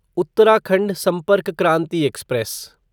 Uttarakhand Sampark Kranti express